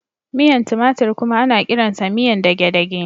Miyan tumatir kuma ana kiransa miyan dagedage.